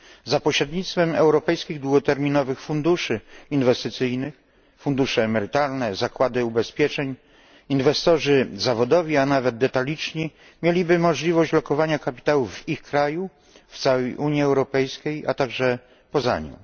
Za pośrednictwem europejskich długoterminowych funduszy inwestycyjnych fundusze emerytalne, zakłady ubezpieczeń, inwestorzy zawodowi, a nawet detaliczni mieliby możliwość lokowania kapitału w ich kraju, w całej Unii Europejskiej, a także poza nią.